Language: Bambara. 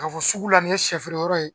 K'a fɔ sugu la nin ye sɛ feere yɔrɔ ye